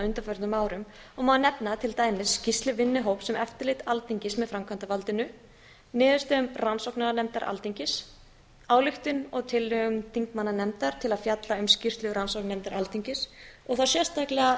undanförnum árum og má nefna til dæmis skýrslu vinnuhóps um eftirlit alþingis með framkvæmdarvaldinu niðurstöðum rannsóknarnefndar alþingis ályktunum og tillögum þingmannanefndar til að fjalla um skýrslu rannsóknarnefndar alþingis og þá sérstaklega